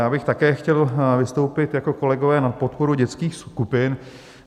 Já bych také chtěl vystoupit, jako kolegové, na podporu dětských skupin.